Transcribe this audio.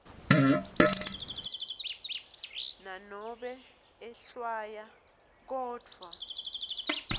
nanobe ehlwaya kodvwa